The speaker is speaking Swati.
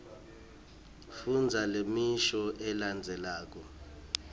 fundza lemisho lelandzelako